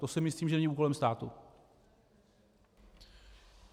To si myslím, že není úkolem státu.